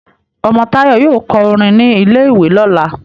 omo Tayo yóò kọ orin ní ilè ìwé lọla